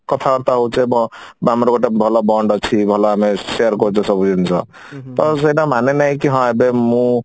କଥା ବାର୍ତା ହଉଛେ ବ ଆମର ଗୋଟେ ଭଲ bond ଅଛି ଭଲ ଆମେ share କରୁଛେ ସବୁ ଜିନିଷ ତ ସେଇଟା ମାନେ ନାହିଁ କି ହଁ ଏବେ ମୁଁ